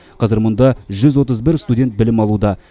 қазір мұнда жүз отыз бір студент білім алуда